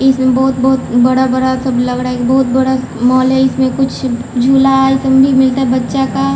इसमें बहुत-बहुत बड़ा बड़ा सब लगड़ा है बहुत बड़ा मॉल है इसमें कुछ झोला ए सब मिलता है बच्चा का--